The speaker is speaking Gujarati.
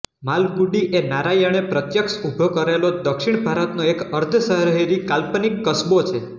માલગુડી એ નારાયણે પ્રત્યક્ષ ઊભો કરેલો દક્ષિણ ભારતનો એક અર્ધશહેરી કાલ્પનિક કસબો છે